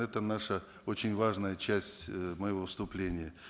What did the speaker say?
это наша очень важная часть эээ моего выступления